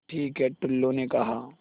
ठीक है टुल्लु ने कहा